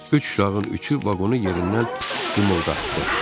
Üç uşağın üçü vaqonu yerindən qımıldatdı.